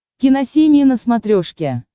киносемья на смотрешке